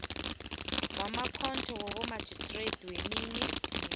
wamakhotho wabomarhistrada neminye